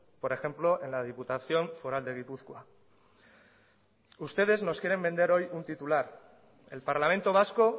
por ejemplo en la diputación foral de gipuzkoa ustedes nos quieren vender hoy un titular el parlamento vasco